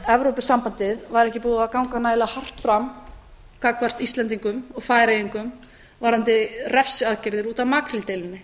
evrópusambandið væri ekki búið að ganga nægilega hart fram gagnvart íslendingum og færeyingum varðandi refsiaðgerðir út af makríldeilunni